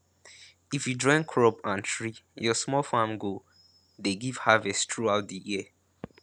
if you join crop and tree your small farm go dey give harvest throughout di year